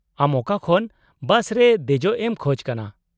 -ᱟᱢ ᱚᱠᱟ ᱠᱷᱚᱱ ᱵᱟᱥ ᱨᱮ ᱫᱮᱡᱚᱜ ᱮᱢ ᱠᱷᱚᱡ ᱠᱟᱱᱟ ?